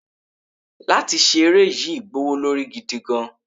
látí ṣe eré yii gbówólorí gidigan